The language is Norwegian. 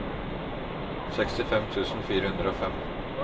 sekstifem tusen fire hundre og fem